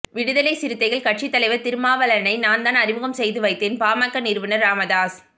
விடுதலை சிறுத்தைகள் கட்சித் தலைவர் திருமாவளவனை நான்தான் அறிமுகம் செய்து வைத்தேன் பாமக நிறுவனர் ராமதாஸ்